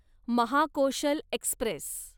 Mahakoshal Express